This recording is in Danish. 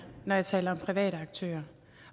når jeg taler om private aktører